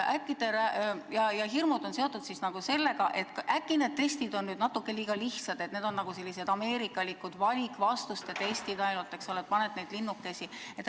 Need hirmud on seotud sellega, et äkki need testid on natuke liiga lihtsad, et need on sellised ameerikalikud valikvastuste testid, ainult paned linnukesi kirja.